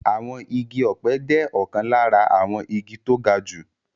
Àwọn igi ọ̀pẹ jẹ́ ọ̀kan lára àwọn igi tó ga jù